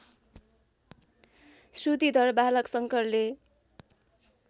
श्रुतिधर बालक शङ्करले